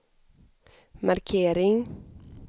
markering